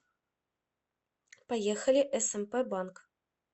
поехали смп банк